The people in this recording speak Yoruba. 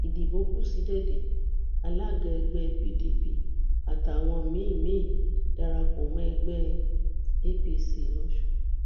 ìdìbò kù sí dédé alága ẹgbẹ pdp àtàwọn míín míín darapọ mọ ẹgbẹ apc losùn